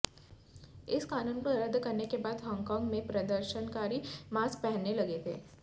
इस कानून को रद्द करने के बाद हॉन्गकॉन्ग में प्रदर्शनकारी मास्क पहनने लगे थे